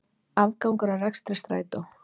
Afgangur af rekstri Strætó